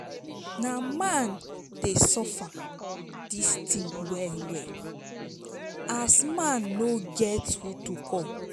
na man dey suffer dis tin wel wel as man no get who to cal